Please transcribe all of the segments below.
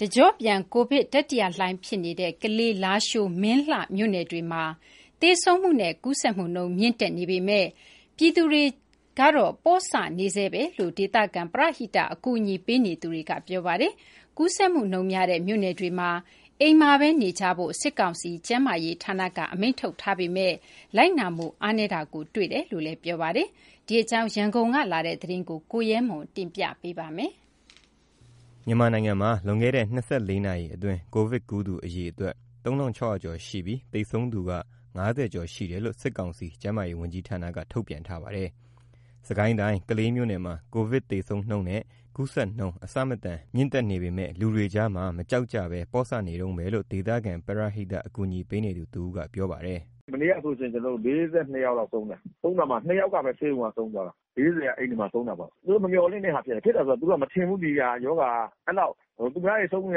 တကျော့ပြန် ကိုဗစ်တတိယလှိုင်ဖြစ်နေတဲ့ ကလေး၊ လားရှိုး၊ မင်းလှမြို့နယ်တွေမှာ သေဆုံးနဲ့ ကူးစက်နှုန်း မြင့်တက်နေပေမယ့် ပြည်သူတွေက မကြောက်ကြဘဲ ပေါ့ဆနေတုန်းပဲလို့ ဒေသခံပရဟိတ အကူအညီပေးနေတဲ့တွေက ပြောပါတယ်။ ကူးစက်နှုန်းများတဲ့ မြို့နယ်တွေမှာ အိမ်မှာဘဲနေကြဖို့ စစ်ကောင်စီကျန်းမာရေးဝန်ကြီးဌာနက အမိန့်ထုတ်ပြန်ထားပေမယ့် လိုက်နာမှုအားနည်းတာ တွေ့ရတယ်လို့ပြောပါတယ်။ ဒီအကြောင်းကို ရန်ကုန်ကလာတဲ့သတင်းကို ကိုရဲမှနျက တင်ပြပေးပါမယ်။ မြန်မာနိုင်မှာ လွန်ခဲ့တဲ့ ၂၄ နာရီအတွင်း ကိုဗစ်ကူးသူ အရေအတွက် ၃၆၀၀ ကျော်ရှိပြီး သေဆုံးသူက ၅၀ ကျော်ရှိတယ်လို့ စစ်ကောင်စီ ကျန်မားရေးဝန်ကြီးဌာနက ထုတ်ပြန်ထားပါတယ်။ စစ်ကိုင်းတိုင်း၊ ကလေးမြို့နယ်မှာ ကိုဗစ်သေဆုံးနှုန်းနဲ့ ကူးစက်နှုန်း အဆမတန် မြင့်တက်နေပေမယ့် လူတွေကြားမှာ မကြောက်ကြဘဲ ပေါ့ဆနေတုန်းပဲလို့ ဒေသခံပရဟိတ အကူအညီပေးနေသူ တစ်ဦးက ပြောပါတယ်။ “မနေ့ကဆိုလို့ရှိရင် ကျနော်တို့ ၄၂ လောက်ဆုံးတယ်၊ ဆုံးတာမှာ ၂ ယောက်ကပဲ ဆေးရုံးမှာဆုံးသွားတာ။ ၄၀ က အိမ်တွေမှာ ဆုံးတာပေါ့။ သူတို့မမျှော်လင့်တဲ့ဟာ ဖြစ်တယ်၊ ဖြစ်တယ်ဆိုတာ သူတို့က မထင်ဘူး ဒီဟာ ရောဂါက အဲ့လောက် သူများတွေ ဆုံးနေ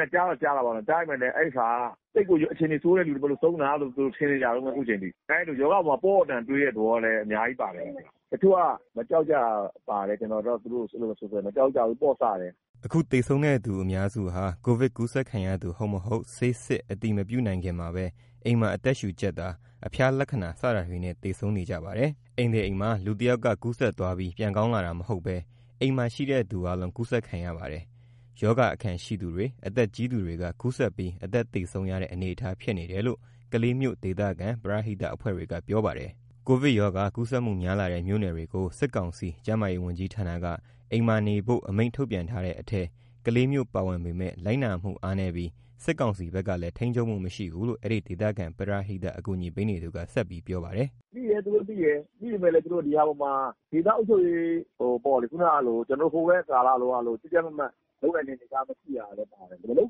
တာ ကြားတော့ ကြားတာပေါ့နော်။ ကြားပေမယ့်လည်း အဲ့ဟာက သိပ်ပြီး အခြေအနေဆိုးတဲ့ သူတွေမို့လို့ ဆုံးတာလို့ သူတို့ ထင်နေကြတုန်းပဲ အခုချိန်ထိ၊ ရောဂါအပေါ်မှာ ပေါ့ပေ့ါတန်တန်တွေးတဲ့သဘောလည်း အများကြီးပါတယ်၊ တချို့က မကြောက်ကြတာလည်း ပါတယ်။ ကျနော်အတွက် သူတို့ကို အဲ့လိုပဲဆိုချင်တယ်။ မကြောက်ကြဘူး ပေါ့ဆတယ်။” အခုသေဆုံးတဲ့သူအများစုဟာ ကိုဗစ်ကူးခံရသူ ဟုတ်မဟုတ် ဆေးစစ် အတည်မပြုနိုင်ခင်မှာဘဲ အိမ်မှာအသက်ရှူကျပ်တာ၊ အဖျားလက္ခဏာ စတာတွေနဲ့ သေဆုံးကြပါတယ်။ အိမ်တစ်အိမ်မှာ လူတစ်ယောက်က ကူးစက်သွားပြီး ပြန်ကောင်းလာတာမဟုတ်ဘဲ အဲ့အိမ်မှာရှိတဲ့သူအားလုံး ကူးစက်ခံရပါတယ်။ အဲ့မှာရှိတဲ့ ရောဂါအခံရှိသူတွေ၊ အသက်ကြီးသူတွေက ကူးစက်ပြီး အသက်သေဆုံးရတဲ့ အနေအထားဖြစ်နေတယ်လို့ ကလေးမြို့ ဒေသခံ ပရဟိတအဖွဲ့တွေက ပြောပါတယ်။ ကိုဗစ်ရောဂါ ကူးစက်မှုများလာတဲ့ မြို့နယ်တွေကို စစ်ကောင်စီကျန်းမာရေးဝန်ကြီးဌာနက အိမ်မှာနေတဲ့ အမိန့်ထုတ်ပြန်ထားတဲ့အထဲ ကလေးမြို့ပါဝင်ပေမယ့် လိုက်နားမှုအားနည်းပြီး စစ်ကောင်စီဘက်ကလည်း ထိန်းချုပ်မှု မရှိဘူးလို့ အဲ့ဒီဒေသခံပရဟိတ အကူအညီပေးနေသူက ဆက်ပြောပါတယ်။ “သူတို့သိတယ်၊ သူတို့သိတယ်။ သိပေမယ့် ဒီဟာအပေါ်မှာ ဒေသအုပ်ချုပ်ရေးပေါ့လေ၊ ခုနကလို ကျနော်တို့ ဟိုကိုဗစ်ကာလကလိုမျိုး ကြပ်ကြပ်မတ်မတ်လုပ်နိုင်တဲ့ အနေအထားမရှိတာလည်း ပါတယ်။ မလုပ်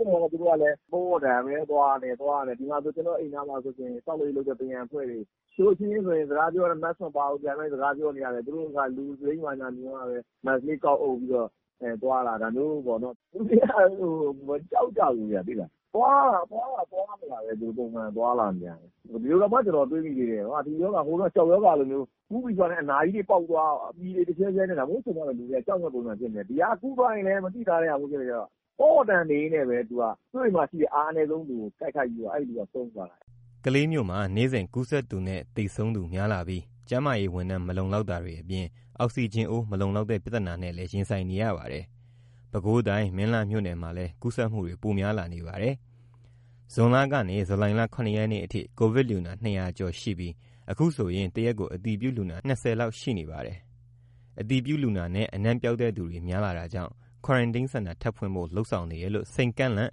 တော့လည်း သူတို့ကလည်း ပေါ့ပေါ့တန်တန်ပဲ သွားနေတယ်၊ ဒီမှာဆို ကျနော်အိမ်နားမှာဆိုလို့ရှိရင် ဆောက်လုပ်ရေးလုပ်တဲ့ ပရံအဖွဲ့တွေ၊ သူတို့အချင်းချင်းဆိုရင် စကားပြောရင် Mask မပါဘူး ဒီတိုင်းပဲစကားပြောနေကြတယ်။ သူတို့က လူစိမ်းဘာညာမြင်မှပဲ Mask လေး ကောက်အုပ်ပြီးတော့ သွားလာနေတာ၊ ဒါမျိုးပေါ့နော်။ လူတွေက မကြောက်ကြဘူးဗျ သိလား။ သွားလာတာ သွားတာသွားနေတာပဲ ပုံမှန်သွားလာနေတာပဲ။ ဒီလိုတောင်မှ ကျနော်တွေးမိသေးတယ်၊ ဒီရောဂါ ဟိုတုန်းက ကျောက်ရောဂါလိုမျိုး၊ ကူးပြီးဆိုတာနဲ့ အနာကြီးတွေပေါက်သွား၊ ပြည်တွေ တဖြန်းဖြန်းနဲ့ ဒါမျိုးဖြစ်သွားမှ လူတွေက ကြောက်မယ့် ပုံစံဖြစ်နေတယ်။ ဒီဟာ ကူးသွားရင်လည်း မသိသာဘူးဖြစ်နေတော့ ပေါ့ပေါ့တန်တန်နေရင်းနဲ့ပဲ သူက ကိုယ့်အိမ်မှာရှိတဲ့ အားအနည်းဆုံးလူကို တိုက်ခိုက်ပြီး အဲ့လူက ဆုံးသွားတာ။” ကလေးမြို့မှာ နေ့စဉ် ကူးစက်သူနဲ့ သေဆုံးသူ များလာပြီး ကျန်းမာရေးဝန်ထမ်း မလုံလောက်တာတွေအပြင် အောက်ဆီဂျင်အိုး မလုံလောက်တဲ့ ပြသနာနဲ့ ရင်ဆိုင်နေရပါတယ်။ ပဲခူးတိုင်း မင်းလှမြို့နယ်မှာလည်း ကူးစက်မှုတွေ ပိုများလာနေပါတယ်။ ဇွန်လကနေ ဇူလိုင်လ ၇ နေ့အထိ ကိုဗစ်လူနာ ၂၀၀ ကျော်ရှိပြီး အခုဆိုရင် တရက်ကို အတည်ပြုလူနာ ၂၀ ဦးလောက်ရှိနေပါတယ်။ အတည်ပြုလူနာနဲ့ အနံပျောက်တဲ့သူတွေ များလာတာကြောင့် Quarantine Center ထပ်ဖွင့်ဖို့ လုပ်ဆောင်နေတယ်လို့ စိန်ကန့်လန့်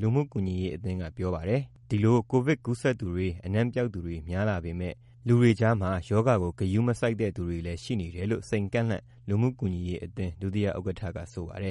လူမှုကူညီရေးအသင်းက ပြောပါတယ်။ ဒီလို ကိုဗစ်ကူးစက်သူတွေ အနံပျောက်သူတွေ များလာပေမယ့် လူတွေကြားမှာ ရောဂါကို ဂရုမစိုက်တဲ့ သူတွေလည်း ရှိနေတယ်လို့ စိန်ကန့်လန့်လူမှုကူညီရေးအသင်း ဒုတိယဥက္ကဋ္ဌက ဆိုပါတယ်